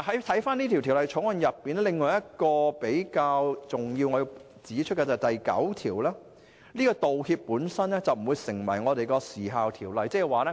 《條例草案》另一比較重要而需要指出的條文是第9條，即道歉本身不會成為《時效條例》所指的承認。